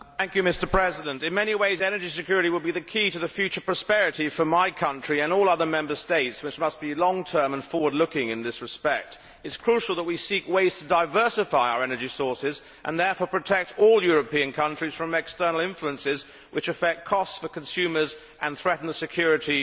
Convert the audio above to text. Mr President, energy security will, in many ways, be the key to the future prosperity of my country and all other Member States which must think long term and be forward looking in this respect. It is crucial that we seek ways to diversify our energy sources and thus to protect all European countries from external influences which affect costs for consumers and threaten energy security.